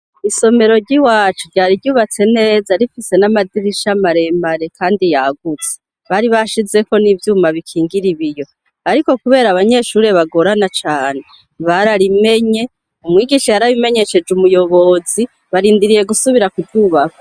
Isomero ry'i wacu ryari ryubatse neza rifise n'amadirisha amarembare, kandi yagutse bari bashizeko n'ivyuma bikingira ibiyo, ariko, kubera abanyeshuri bagorana cane bararimenye umwigisha yarabimenyesheje umuyobozi barindiriye gusubira ku bwubaka.